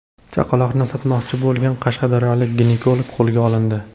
Chaqaloqni sotmoqchi bo‘lgan qashqadaryolik ginekolog qo‘lga olindi.